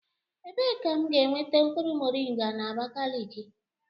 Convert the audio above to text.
Ebee ka m ga-enweta mkpụrụ moringa na Abakaliki?